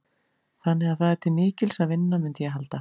Þannig að það er til mikils að vinna, mundi ég halda.